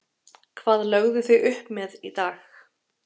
Hvað lögðuð þið upp með í dag?